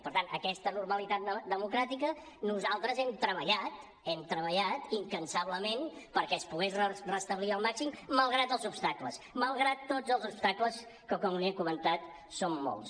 per tant aquesta normalitat democràtica nosaltres hem treballat incansablement perquè es pogués restablir al màxim malgrat els obstacles malgrat tots els obstacles que com li he comentat són molts